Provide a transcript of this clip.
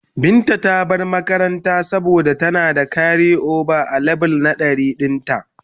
Binta ta bar makaranta saboda tana da karioba a leve 100 dinta.